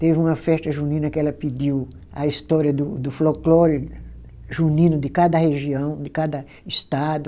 Teve uma festa junina que ela pediu a história do do folclore junino de cada região, de cada estado.